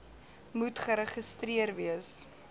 moet geregistreer wees